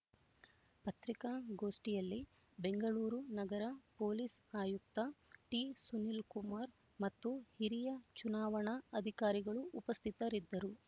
ಪತ್ರಿಕಾ ಗೋಷ್ಠಿಯಲ್ಲಿ ಬೆಂಗಳೂರು ನಗರ ಪೊಲೀಸ್ ಆಯುಕ್ತ ಟಿಸುನಿಲ್ ಕುಮಾರ್ ಮತ್ತು ಹಿರಿಯ ಚುನಾವಣಾ ಅಧಿಕಾರಿಗಳು ಉಪಸ್ಥಿತರಿದ್ದರು